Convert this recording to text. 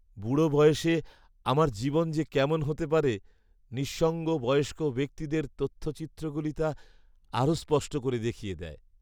বুড়ো বয়সে আমার জীবন যে কেমন হতে পারে, নিঃসঙ্গ বয়স্ক ব্যক্তিদের তথ্যচিত্রগুলি তা আরও স্পষ্ট করে দেখিয়ে দেয়!